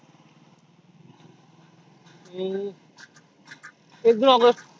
हम्म एक august